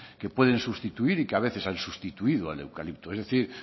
que pueden sustituir y que a veces han sustituido al eucalipto es decir